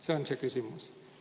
See on küsimus.